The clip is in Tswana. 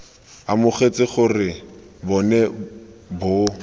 amogetse gore bo ne bo